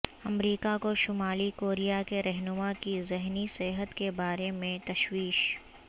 امریکہ کو شمالی کوریا کے رہنما کی ذہنی صحت کے بارے میں تشویش